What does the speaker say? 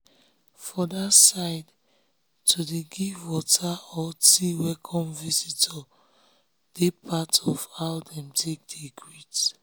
for that sideto dey give water or tea to welcome visitor dey part of how dem dey greet.